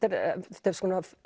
þetta er